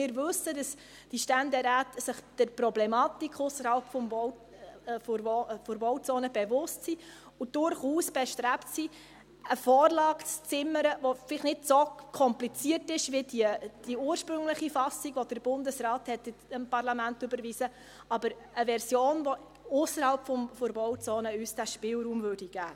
Wir wissen, dass sich die Ständeräte der Problematik ausserhalb der Bauzone bewusst sind und durchaus bestrebt sind, eine Vorlage zu zimmern, die vielleicht nicht so kompliziert ist wie die ursprüngliche Fassung, die der Bundesrat ans Parlament überwiesen hatte, aber eine Version, die uns ausserhalb der Bauzone diesen Spielraum geben würde.